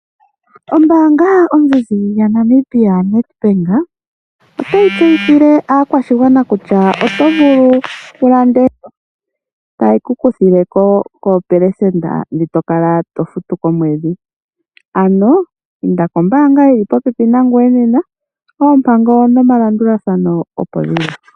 Ombaanga yaNamibia yaNedbank otayi kunkilile aakwashigwana kutya oto vulu wulande, etaye kukuthileko koopelesenda ndhi tokala to futu komwedhi, ano inda kombaanga yili popepi nangoye nena . Oompango nomalandulathano opo dhili.